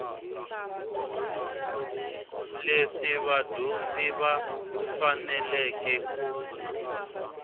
leswi vadyondzi va faneleke ku